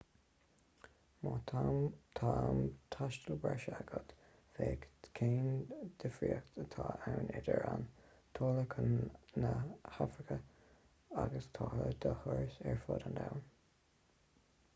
má tá am taistil breise agat féach cén difríocht atá ann idir an táille chun na hafraice agus táille do thuras ar fud an domhain